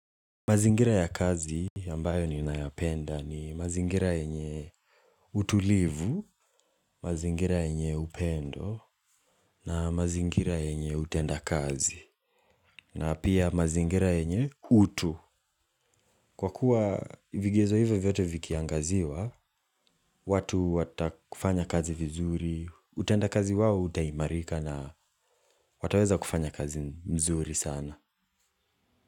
Mazingira ya kazi ambayo ninayapenda ni mazingira yenye utulivu, mazingira yenye upendo, na mazingira yenye utendakazi, na pia mazingira yenye utu. Kwa kuwa vigezo hivyo vyote vikiangaziwa, watu watafanya kazi vizuri, utendakazi wao utaimarika na wataweza kufanya kazi nzuri sana.